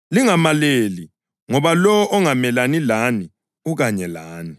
UJesu wathi, “Lingamaleli ngoba lowo ongamelani lani ukanye lani.”